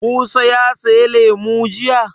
Musa ya saya lemu jiya?